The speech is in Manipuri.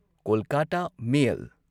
ꯀꯣꯜꯀꯥꯇꯥ ꯃꯦꯜ